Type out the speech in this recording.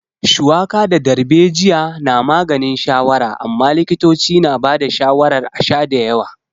Shuwaka ko darbejiya na maganin shawara amma likitoci na ba da shawarar a sha da yawa.